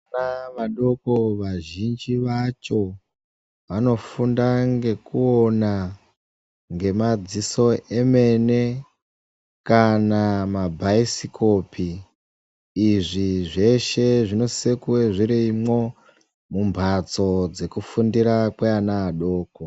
Vana vadoko vazhinji vacho vanofunda ngekuona ngemadziso emene kana mabhaisikopi. Izvi zveshe zvinosise kuve zvirimwo mumbatso dzekufundira kweana adoko.